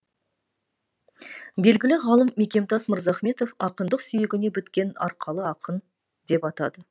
белгілі ғалым мекемтас мырзахметов ақындық сүйегіне біткен арқалы ақын деп атады